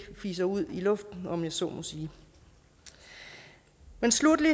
fiser ud i luften om jeg så må sige men sluttelig